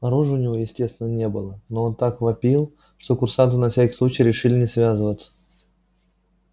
оружия у него естественно не было но он так вопил что курсанты на всякий случай решили не связываться